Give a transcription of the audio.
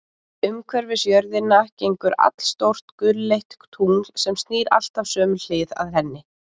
Umhverfis jörðina gengur allstórt gulleitt tungl, sem snýr alltaf sömu hlið að henni.